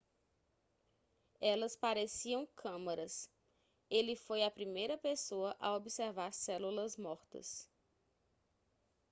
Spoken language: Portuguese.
elas pareciam câmaras ele foi a primeira pessoa a observar células mortas